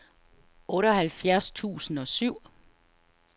otteoghalvtreds tusind og syv